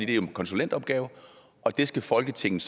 det er en konsulentopgave og det skal folketinget